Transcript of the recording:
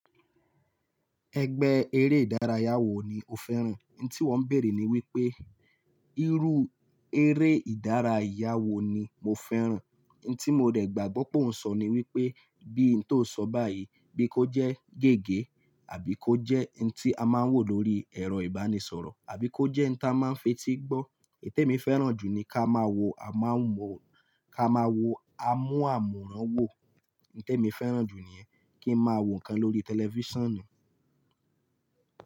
Ẹgbẹ́ eré ìdárayá wo ni o fẹ́ràn? N tí wọ́n bèèrè ni wípé, irú eré ìdárayá wo ni mo fẹ́ràn? N tí mo dẹ̀ gbà gbọ́ pé òun sọ ni wípé, bí n tó sọ báyìí bí kó jẹ́ gègé àbí kó jẹ́ n tí a máa ń wò lórí ẹ̀rọ ìbánisọ̀rọ̀, àbí kó jẹ́ n ta máa ń fetí gbọ́. Nté mi fẹ́ràn jù ni ká máa wo amú-àmúran wò. Nté mi fẹ́ràn jù níyẹn. Kí ń máa wò nǹkan lórí tẹlifíṣàn ni.